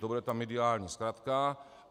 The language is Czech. To bude ta mediální zkratka.